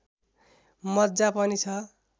मज्जा पनि छ